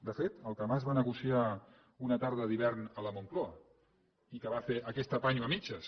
de fet el que mas va negociar una tarda d’hivern a la moncloa i que va fer aquest apanyo a mitges